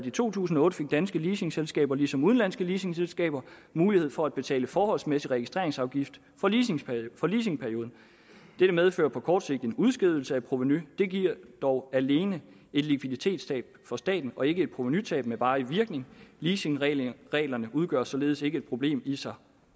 i to tusind og otte fik danske leasingselskaber ligesom udenlandske leasingselskaber mulighed for at betale forholdsmæssig registreringsafgift for leasingperioden dette medfører på kort sigt en udskydelse af provenu det giver dog alene et likviditetstab for staten og ikke et provenutab med varig virkning leasingreglerne udgør således ikke et problem i sig